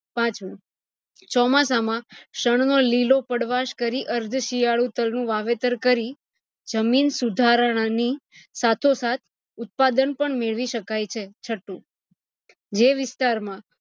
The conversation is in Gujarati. પાંચમું ચોમાસામાં શન નો લીલો પદ્વાસ કરી અર્થ શિયાળુ તલ નું વાવેતર કરી જમીન સુધારા ની સાથો સાથ ઉત્પાદન પણ મેળવી શકાય છે, છઠું જે વિસ્તાર માં